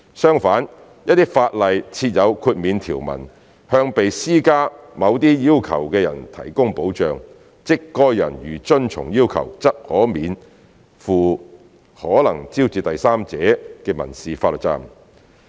相反，一些法例設有豁免條文，向被施加某些要求的人提供保障，即該人如遵從要求，則可免負可能招致對第三者的民事法律責任。